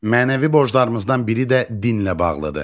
Mənəvi borclarımızdan biri də dinlə bağlıdır.